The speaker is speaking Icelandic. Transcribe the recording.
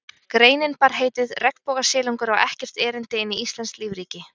Greinin bar heitið: Regnbogasilungur á ekkert erindi inn í íslenskt lífríki